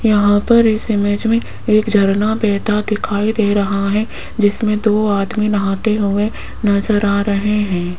यहां पर इस इमेज में एक झरना बहता दिखाई दे रहा हैं जिसमें दो आदमी नहाते हुए नजर आ रहे हैं।